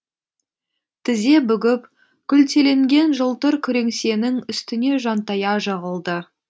тізе бүгіп күлтеленген жылтыр күреңсенің үстіне жантая жығылды